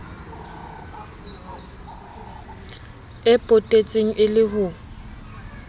e potetseng e le ho